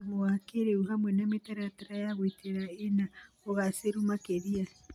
thumu wa kĩrĩu, hamwe na mĩtaratara ya gũitĩrĩria ĩna ũgacĩru makĩria.